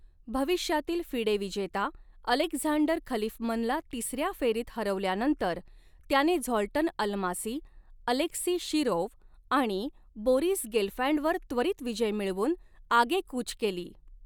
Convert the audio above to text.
भविष्यातील फिडे विजेता अलेक्झांडर खलिफमनला तिसऱ्या फेरीत हरवल्यानंतर त्याने झॉल्टन अल्मासी, अलेक्सी शिरोव आणि बोरिस गेलफँडवर त्वरित विजय मिळवून आगेकूच केली.